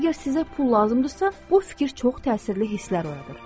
Əgər sizə pul lazımdırsa, bu fikir çox təsirli hisslər oyadır.